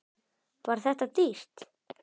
Var þetta dýrt?